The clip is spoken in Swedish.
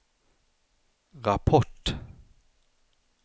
rapport